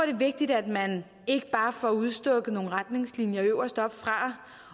vigtigt at man ikke bare får udstukket nogle retningslinjer øverst fra